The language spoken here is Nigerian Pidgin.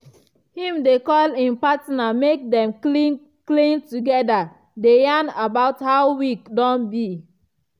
him dey call him partner mek dem clean clean together dey yarn about how week don be.